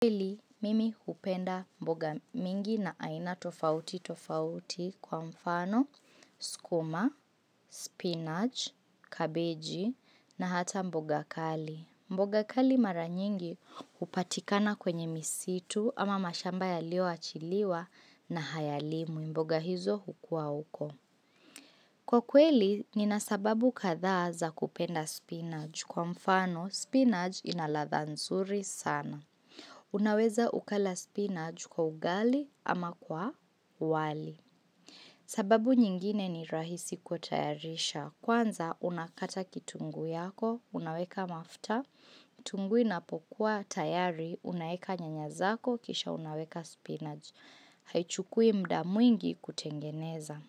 Kweli, mimi hupenda mboga mingi na aina tofauti tofauti kwa mfano, sukuma, spinach, kabeji na hata mboga kali. Mboga kali mara nyingi hupatikana kwenye misitu ama mashamba yalio achiliwa na hayalimwi mboga hizo hukua uko. Kwa kweli, nina sababu kadhaa za kupenda spinach kwa mfano, spinach inaladha nzuri sana. Unaweza ukala spinach kwa ugali ama kwa wali. Sababu nyingine ni rahisi kutayarisha. Kwanza unakata kitunguu yako, unaweka mafuta, kitunguu inapokuwa tayari, unaweka nyanya zako kisha unaweka spinach. Haichukui muda mwingi kutengeneza.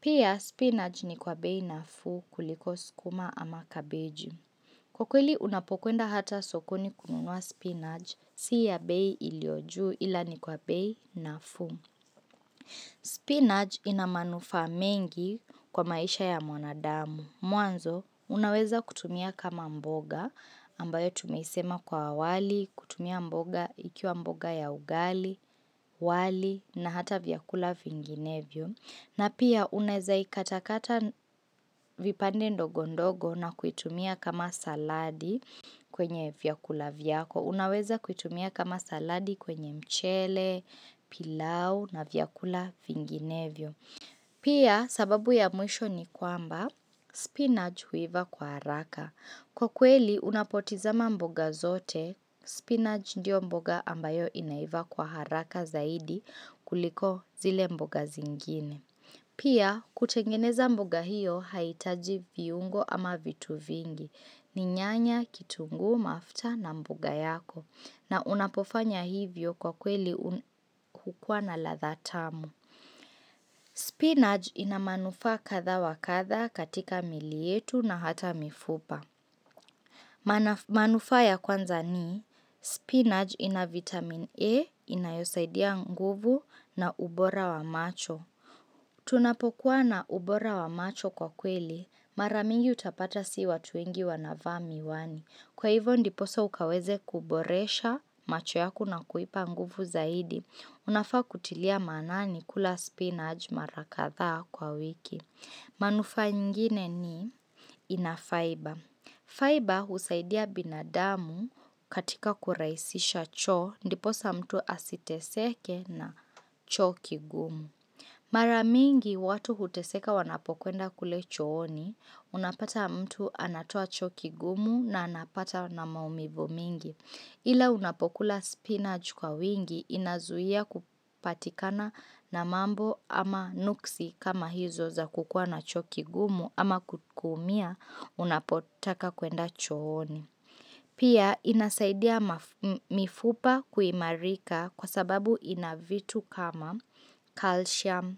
Pia, spinach ni kwa bei nafuu kuliko sukuma ama kabeje. Kwa kweli unapokuenda hata sokoni kununua spinach, siya bei iliyo juu ila ni kwa bei nafuu. Spinach inamanufa mengi kwa maisha ya mwanadamu. Mwanzo, unaweza kutumia kama mboga ambayo tumeisema kwa awali, kutumia mboga ikiwa mboga ya ugali, wali na hata vyakula vinginevyo. Na pia unaweza ikatakata vipande ndogo ndogo na kuitumia kama saladi kwenye vyakula vyako. Unaweza kuitumia kama saladi kwenye mchele, pilau na vyakula vinginevyo. Pia sababu ya mwisho ni kwamba, spinach huivya kwa haraka. Kwa kweli, unapotizama mboga zote, spinach ndio mboga ambayo inaivya kwa haraka zaidi kuliko zile mboga zingine. Pia, kutengeneza mbiga hiyo, haitaji viungo ama vitu vingi. Ninyanya, kitunguu, mafuta na mboga yako. Na unapofanya hivyo kwa kweli kukuwana ladha tamu. Spinach ina manufaa katha wakatha katika milietu na hata mifupa. Manufaa ya kwanza ni, spinach ina vitamin E, inayosaidia nguvu na ubora wa macho. Tunapokuwa na ubora wa macho kwa kweli, mara mingi utapata si watu wengi wanavaa miwani. Kwa hivyo ndiposa ukaweze kuboresha macho yaku na kuipa nguvu zaidi. Unafaa kutilia manani kula spinach mara kadhaa kwa wiki. Manufaa ingine ni inafiber. Fiber husaidia binadamu katika kurahisisha choo, ndiposa mtu asiteseke na choo kigumu. Mara mingi watu huteseka wanapokuenda kule chooni, unapata mtu anatoa choo kigumu na anapata na maumivu mingi. Ila unapokula spinach kwa uwingi inazuia kupatikana na mambo ama nuksi kama hizo za kukua na choo kigumu ama kumia unapotaka kuenda chooni. Pia inasaidia mifupa kuimarika kwa sababu inavitu kama calcium,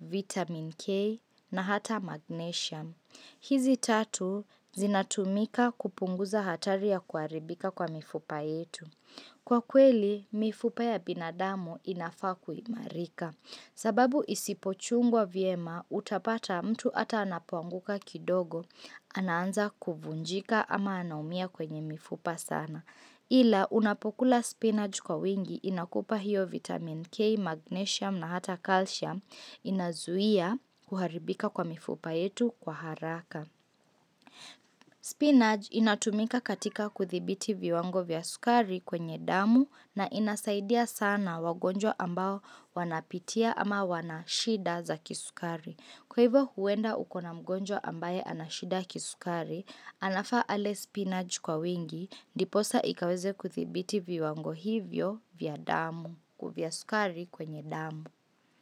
vitamin K na hata magnesium. Hizi tatu zinatumika kupunguza hatari ya kuharibika kwa mifupa yetu. Kwa kweli, mifupa ya binadamu inafakuimarika. Sababu isipochungwa vyema, utapata mtu hata anapoanguka kidogo, anaanza kuvunjika ama anaumia kwenye mifupa sana. Ila unapokula spinach kwa uwingi inakupa hiyo vitamin K, magnesium na hata calcium inazuia kuharibika kwa mifupa yetu kwa haraka. Spinach inatumika katika kuthibiti viwango vya sukari kwenye damu na inasaidia sana wagonjwa ambao wanapitia ama wanashida za kisukari. Kwa hivyo huwenda ukona mgonjwa ambaye anashida kisukari, anafaa ale spinach kwa uwingi, diposa ikaweze kuthibiti viwango hivyo vya damu, ku vya sukari kwenye damu.